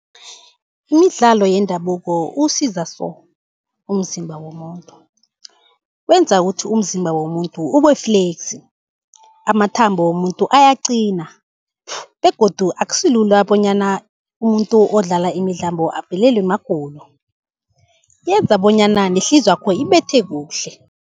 Imidlalo yendabuko uwusiza so, umzimba womuntu. Wenza ukuthi umzimba womuntu ube-flexy, amathambo womuntu ayaqina begodu akusilula bonyana umuntu odlala imidlambo avelelwe magulo. Yenza bonyana nehliziywakho ibethe kuhle.